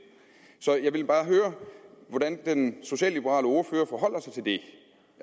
så jeg vil bare høre hvordan den socialliberale ordfører forholder sig til det